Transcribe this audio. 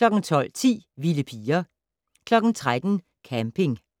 12:10: Vilde piger 13:00: Camping